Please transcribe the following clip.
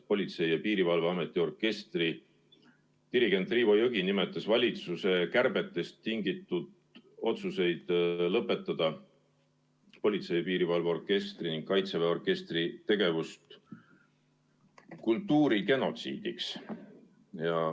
Politsei‑ ja Piirivalveameti orkestri dirigent Riivo Jõgi nimetas valitsuse kärbetest tingitud otsuseid lõpetada politsei‑ ja piirivalveorkestri ning kaitseväe orkestri tegevus kultuurigenotsiidiks.